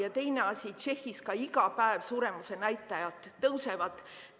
Ja teine asi, Tšehhis iga päev ka suremuse näitajad tõusevad.